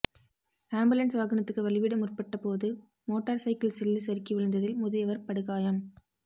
ambulance வாகனத்துக்கு வழிவிட முற்பட்ட போது மோட்டார்ச் சைக்கிள் சில்லு சறுக்கி விழுந்ததில் முதியவர் படுகாயம்